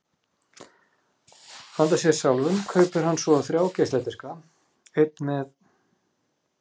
Handa sér sjálfum kaupir hann svo þrjá geisladiska: einn með